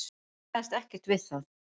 Kannaðist ekkert við það.